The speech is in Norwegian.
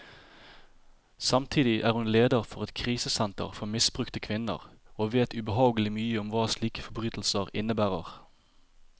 Samtidig er hun leder for et krisesenter for misbrukte kvinner, og vet ubehagelig mye om hva slike forbrytelser innebærer.